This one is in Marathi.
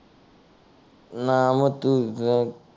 नाम तुझ